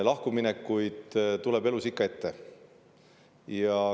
Lahkuminekuid tuleb elus ikka ette.